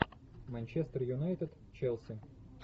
манчестер юнайтед челси